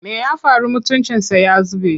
Me ya faru mutuncinsa ya zube?